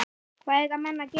Hvað eiga menn að gera?